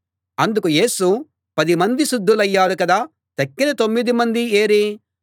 అందుకు యేసు పది మంది శుద్ధులయ్యారు కదా తక్కిన తొమ్మిది మంది ఏరీ